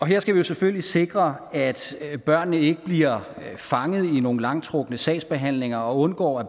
her skal vi selvfølgelig sikre at at børnene ikke bliver fanget i nogle langtrukne sagsbehandlinger og undgå at